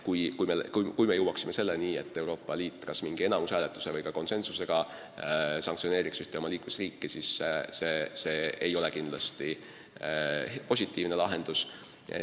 Kui me jõuaksime selleni, et Euroopa Liit teatud häälteenamusega või lausa konsensusega sanktsioneeriks ühte oma liikmesriiki, siis loomulikult see ei oleks positiivne lahendus.